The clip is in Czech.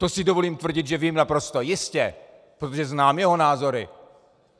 To si dovolím tvrdit, že vím naprosto jistě, protože znám jeho názory.